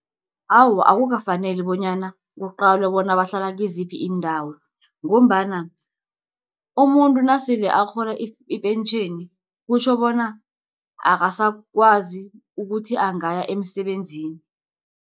Awa, akukafaneli bonyana kuqalwe bona bahlala kiziphi iindawo, ngombana umuntu nasele arhola ipentjheni, kutjho bona akasakwazi ukuthi angaya emsebenzini.